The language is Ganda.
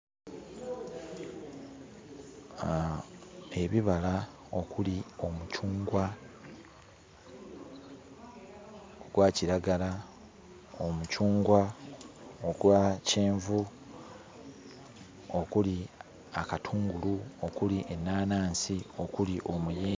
Ebibala okuli omucungwa ogwa kiragala, omucungwa ogwa kyenvu okuli akatungulu, okuli ennaanansi, okuli omuyembe.